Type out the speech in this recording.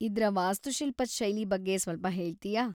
ಇದ್ರ ವಾಸ್ತುಶಿಲ್ಪದ್ ಶೈಲಿ ಬಗ್ಗೆ ಸ್ವಲ್ಪ ಹೇಳ್ತಿಯಾ?